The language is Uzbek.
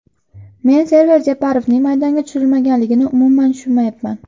Men Server Jeparovning maydonga tushirilmaganligini umuman tushunmayapman.